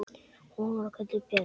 Hún var kölluð Björg.